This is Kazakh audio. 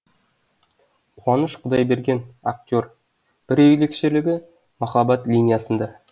қуаныш құдайберген актер бір ерекшелігі махаббат линиясында